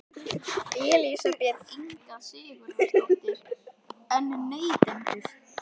Elísabet Inga Sigurðardóttir: En neytendur?